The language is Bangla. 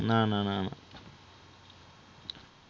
না, না না না,